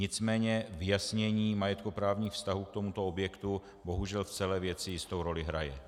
Nicméně vyjasnění majetkoprávních vztahů k tomuto objektu bohužel v celé věci jistou roli hraje.